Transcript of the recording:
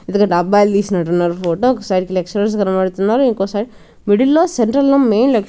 ఇదిగో డబ్బాలు తీసినట్టు ఉన్నారు ఫోటో ఒక సైడు లెక్చరర్స్ కనబడుతున్నారు ఒక సైడ్ డు మిడిల్ లో సెంటర్ లో మేల్ లెక్చరర్స్ --